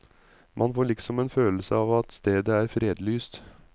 Man får liksom en følelse av at stedet er fredlyst.